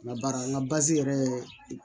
La baara la yɛrɛ